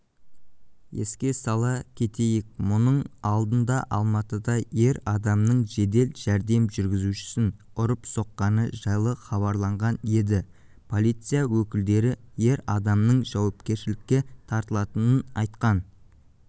еске сала кетейік мұның алдындаалматыда ер адамның жедел жәрдем жүргізушісін ұрып-соққаны жайлы хабарланған еді полиция өкілдері ер адамның жауапкершілікке тартылатынын айтқан